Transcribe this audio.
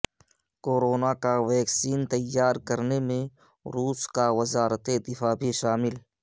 corona کا vaccine تیار کرنے میں روس کا وزارت دفاع بھی شامل